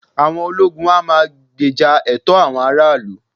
àwọn ologun a ma gbèjà ẹtọ awọn ará ilu